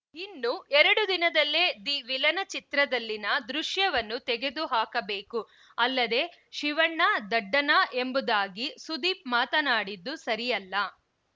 ಇನ್ನು ಎರಡು ದಿನದಲ್ಲೇ ದಿ ವಿಲನ ಚಿತ್ರದಲ್ಲಿನ ದೃಶ್ಯವನ್ನು ತೆಗೆದು ಹಾಕಬೇಕು ಅಲ್ಲದೇ ಶಿವಣ್ಣ ದಡ್ಡನಾ ಎಂಬುದಾಗಿ ಸುದೀಪ್‌ ಮಾತನಾಡಿದ್ದು ಸರಿಯಲ್ಲ